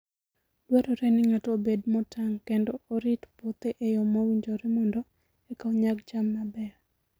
Dwarore ni ng'ato obed motang' kendo orit puothe e yo mowinjore mondo eka onyag cham mabeyo.